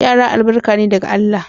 Yara albarka ne daga Allah.